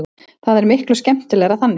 Það er miklu skemmtilegra þannig.